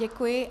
Děkuji.